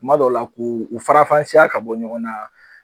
Kuma dɔw la k' u farafansiya ka bɔ ɲɔgɔn na